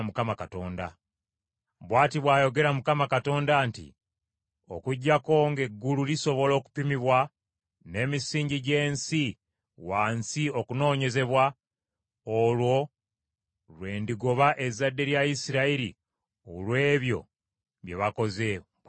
Bw’ati bw’ayogera Mukama Katonda nti, “Okuggyako ng’eggulu lisobola okupimibwa n’emisingi gy’ensi wansi okunoonyezebwa, olwo lw’endigoba ezzadde lya Isirayiri olw’ebyo bye bakoze,” bw’ayogera Mukama .